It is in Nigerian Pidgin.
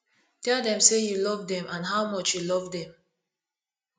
tell them sey you love them and how much you love them